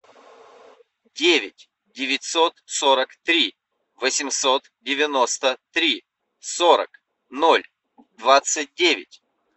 девять девятьсот сорок три восемьсот девяносто три сорок ноль двадцать девять